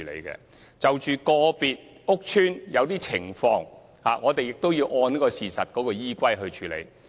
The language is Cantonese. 關於個別屋邨的某些情況，我們亦要按事實來處理。